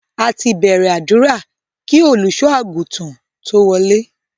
A ti bẹ̀rẹ̀ àdúrà kí Olùṣọ́-àgùntàn tó wọlé.